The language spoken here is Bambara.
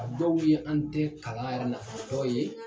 A dɔw ye an tɛ kalan yɛrɛ nafa yɔrɔ ye